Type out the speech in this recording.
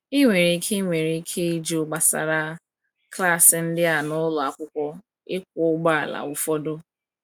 Ị nwere ike Ị nwere ike ịjụ gbasara klaasị ndị a n’ụlọ akwụkwọ ịkwọ ụgbọala ụfọdụ.